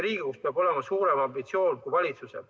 Riigikogul peab olema suurem ambitsioon kui valitsusel.